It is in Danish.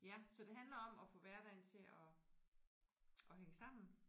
Ja så det handler om at få hverdagen til at at hænge sammen